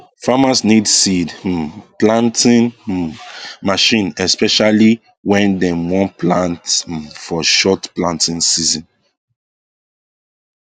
farmers need seed um planting um machine especially when dem wan plant um for short time planting season